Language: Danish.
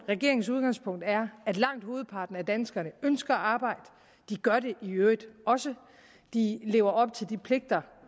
regeringens udgangspunkt er at langt hovedparten af danskerne ønsker at arbejde de gør det i øvrigt også de lever op til de pligter